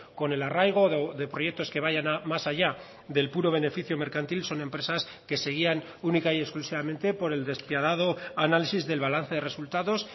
con el arraigo de proyectos que vayan más allá del puro beneficio mercantil son empresas que se guían única y exclusivamente por el despiadado análisis del balance de resultados